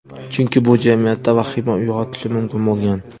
Chunki bu jamiyatda vahima uyg‘otishi mumkin bo‘lgan.